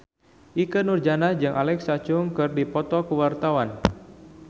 Ikke Nurjanah jeung Alexa Chung keur dipoto ku wartawan